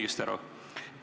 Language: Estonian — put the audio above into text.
Kas ma saan õigesti aru?